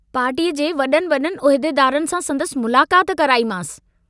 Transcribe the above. पार्टीअ जे वइनि वडुनि उहदेदारनि सां संदसि मुलाकात कराईमांस।